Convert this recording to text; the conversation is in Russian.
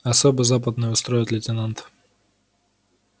особый западный устроит лейтенант